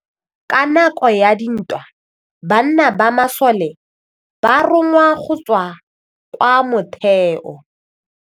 Ka nakô ya dintwa banna ba masole ba rongwa go tswa kwa mothêô.